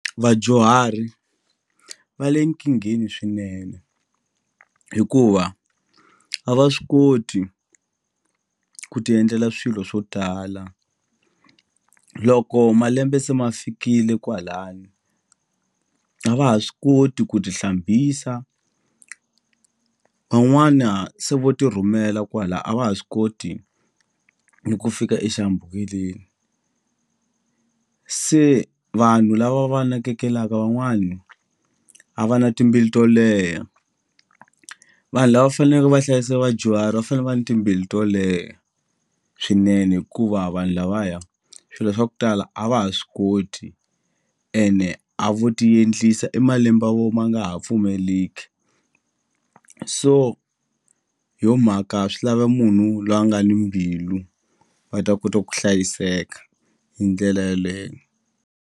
Vadyuhari va le nkingheni swinene hikuva a va swi koti ku ti endlela swilo swo tala loko malembe se ma fikile kwalani a va ha swi koti ku ti hlambisa van'wana se vo ti rhumela kwala a va ha swi koti ni ku fika exihambukeleni se vanhu lava va nakekela van'wani a va na timbilu to leha vanhu lava faneleke va hlayisa vadyuhari va fane va ni timbilu to leha swinene hikuva vanhu lavaya swilo swa ku tala a va ha swi koti ene a vo ti endlisa i malembe ya vo ma nga ha pfumeleki so hi yo mhaka swi lava munhu lwa nga ni mbilu va ta kota ku hlayiseka hi ndlela yeleyo.